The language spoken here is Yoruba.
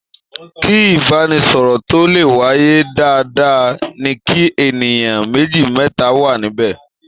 Kí ìbánisọ̀rọ̀ tó le wáyé, dandan ni kí ènìyàn méjì, mẹ́ta wà níbẹ̀.